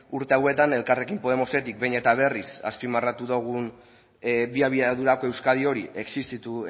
urte hauetan elkarrekin podemosetik behin eta berriz azpimarratu dugun bi abiadurako euskadi hori existitu